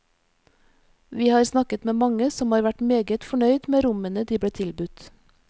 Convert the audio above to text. Vi har snakket med mange som har vært meget fornøyd med rommene de ble tilbudt.